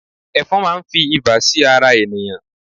efòn ma n fi iba sí ara ènìyàn